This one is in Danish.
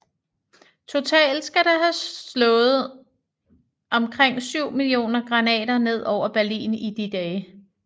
Totalt skal der have slået omkring 7 millioner granater ned over Berlin i de dage